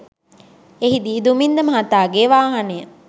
එහිදී දුමින්ද මහතාගේ වාහනය